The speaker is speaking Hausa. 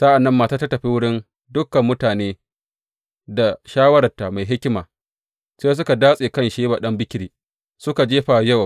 Sa’an nan matar ta tafi wurin dukan mutane da shawararta mai hikima, sai suka datse kan Sheba ɗan Bikri suka jefa wa Yowab.